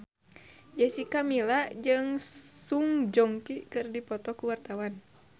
Jessica Milla jeung Song Joong Ki keur dipoto ku wartawan